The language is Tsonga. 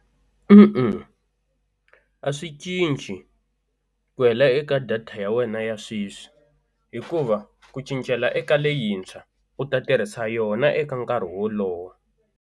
A swi cinci ku hela eka data ya wena ya sweswi hikuva ku cincela eka leyintshwa u ta tirhisa yona eka nkarhi wolowo.